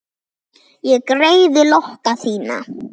Ég greiði lokka þína.